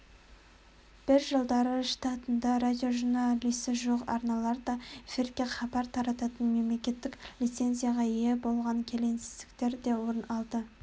бір жылдары штатында радиожурналисі жоқ арналар да эфирге хабар тарататын мемлекеттік лицензияға ие болған келеңсіздіктер де орын алды